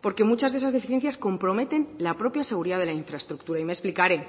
porque muchas de esas deficiencias comprometen la propia seguridad de la infraestructura y me explicaré